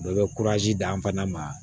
Dɔ bɛ d'an fana ma